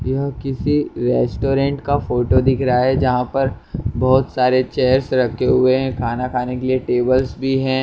यह किसी रेस्टोरेंट का फोटो दिख रहा है जहाँ पर बहुत सारे चेयर्स रखे हुए है खाना खाने के लिए टेबल्स भी है।